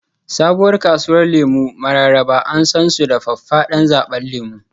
Sabuwar kasuwar lemu Mararaba an san su da faffadan zaɓen lemu